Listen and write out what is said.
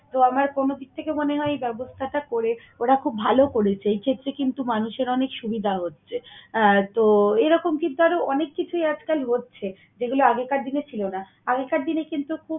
তো আমার কোন দিক থেকে মনে হয় এই ব্যবস্থাটা করে ওরা খুব ভালো করেছে। এই ক্ষেত্রে কিন্তু মানুষের অনেক সুবিধা হচ্ছে। আহ তো, এরকম কিন্তু আরো অনেক কিছুই আজকাল হচ্ছে যেগুলো আগেকার দিনে ছিল না। আগেকার দিনে কিন্তু খুব